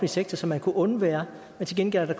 sektor som man kunne undvære men til gengæld er der